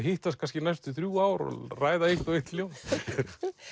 hittast næstu þrjú ár og ræða eitt og eitt ljóð